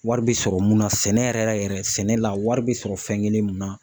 Wari bɛ sɔrɔ mun na sɛnɛ yɛrɛ yɛrɛ sɛnɛ la wari bɛ sɔrɔ fɛn kelen mun na